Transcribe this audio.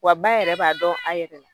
Wa ba yɛrɛ b'a dɔn a yɛrɛ la